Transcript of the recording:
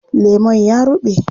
Lemon ya ruɓe.